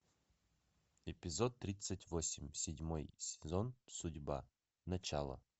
эпизод тридцать восемь седьмой сезон судьба начало